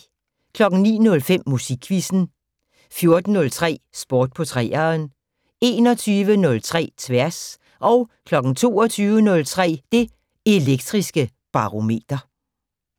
09:05: Musikquizzen 14:03: Sport på 3'eren 21:03: Tværs 22:03: Det Elektriske Barometer